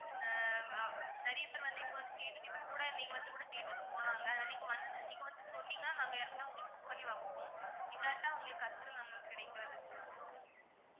ஆஹ் நிறைய பேரு வந்து இப்போ வந்து கேட்டுட்டு இப்போ கூட நீங்க வந்து கூட கேட்டுட்டு போனாங்க நீங்க வந்து நீங்க வந்து சொன்னீங்கன்னா நாங்க யாருக்குன்னா உங்களுக்கு book பண்ணி வைப்போம் இல்லாட்டி உங்களுக்கு கஷ்டம் தான் ma'am கிடைக்குறதுக்கு